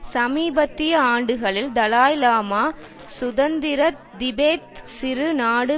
சமீபத்திய ஆண்டுகளில் தலாய் லாமா சுதந்திர திபெத் சிறு நாடு